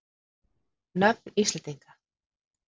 Nöfn Íslendinga.